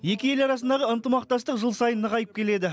екі ел арасындағы ынтымақтастық жыл сайын нығайып келеді